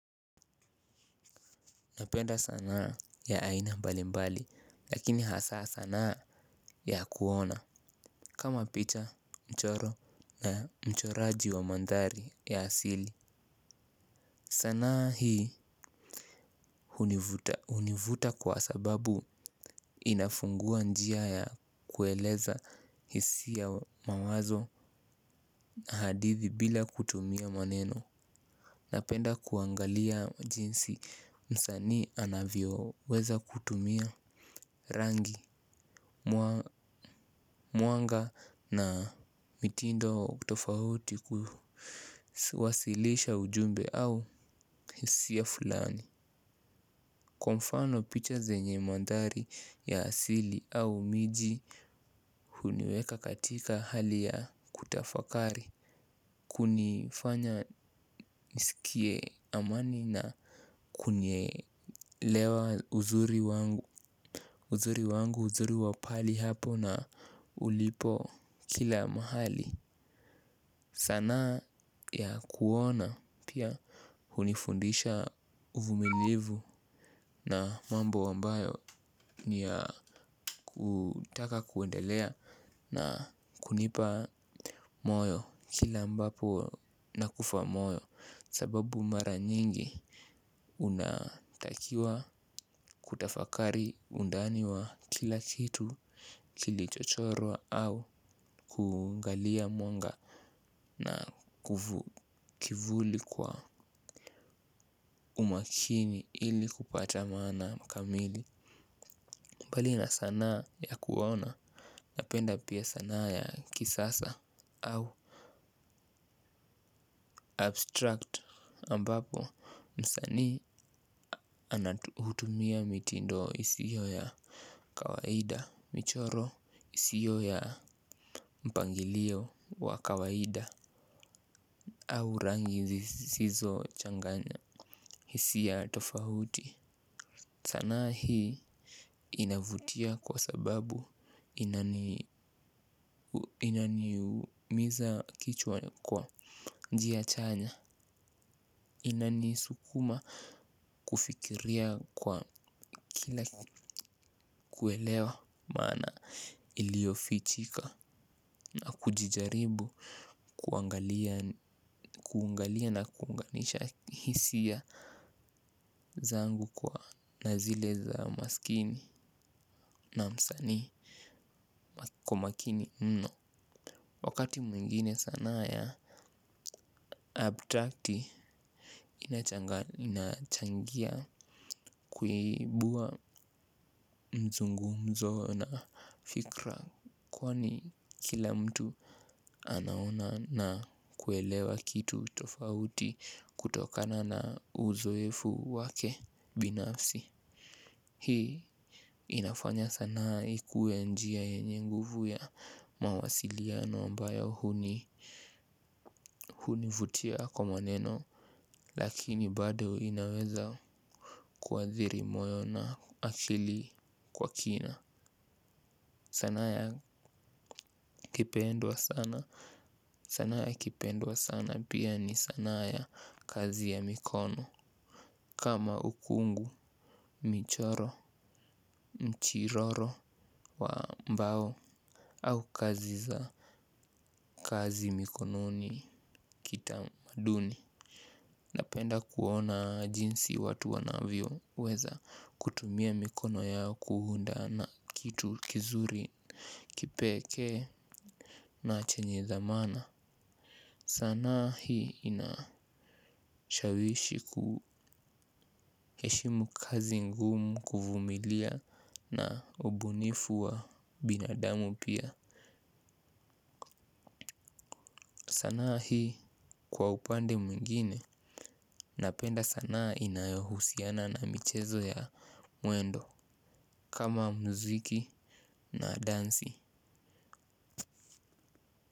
Napenda sanaa ya aina mbali mbali lakini hasaa sanaa ya kuona. Kama picha mchoro na mchoraji wa mandhari ya asili sanaa hii hunivuta kwa sababu inafungua njia ya kueleza hisi ya mawazo na hadithi bila kutumia maneno. Napenda kuangalia jinsi msani anavyo weza kutumia rangi. Mwanga na mitindo kutofauti kuwasilisha ujumbe au hiia fulani. Kwa mfano picha zenye mandari ya asili au miji huniweka katika hali ya kutafakari. Kunifanya nisikie amani na kunielewa uzuri wangu. Uzuri wangu uzuri wapali hapo na ulipo kila mahali. Sanaa ya kuona pia hunifundisha uvumilivu na mambo ambayo niya kutaka kuendelea na kunipa moyo kila ambapo na kufa moyo. Sababu mara nyingi unatakiwa kutafakari undani wa kila kitu kilichochorwa au kuangalia mwanga na kivuli kwa umakini ili kupata maana kamili. Mbali na sana ya kuona napenda pia sana ya kisasa au abstract ambapo msanii anatu hutumia miti ndo isio ya kawaida michoro siyo ya mpangilio wa kawaida au rangi zisizo changanya. Hisi a tofahuti. Sana hii inavutia kwa sababu inani umiza kichwa kwa njia chanya. Inani sukuma kufikiria kwa kina kuelewa mana ilio fichika na kujijaribu kuungalia na kuunganisha hisia zangu kwa nazile za maskini na msani kumakini mno. Wakati mwingine sana ya abstract inachangia kuibua mzungumzo na fikra. Kwani kila mtu anaona na kuelewa kitu tofauti kutokana na uzoefu wake binafsi. Hii inafanya sanaa ikuwe njia yenye guvu ya mawasiliano ambayo hunivutia kwa maneno. Lakini bado inaweza kuwathiri moyo na akili kwa kina. Sanaa ya kipendwa sana sanaa ya kipendwa sana pia ni sana ya kazi ya mikono. Kama ukungu, michoro, mchiroro wa mbao au kazi za kazi mikononi kitamaduni. Napenda kuona jinsi watu wanavyo weza kutumia mikono yao kuunda na kitu kizuri kipeke na chenye thamana. Sana hii inashawishi kuheshimu kazi ngumu kuvumilia na ubunifu wa binadamu pia sanaa hii kwa upande mwingine napenda sana inayohusiana na michezo ya mwendo kama mziki na dansi.